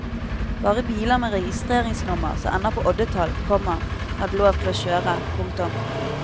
Bare biler med registreringsnummer som ender på oddetall, komma hadde lov til å kjøre. punktum